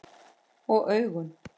Og augun?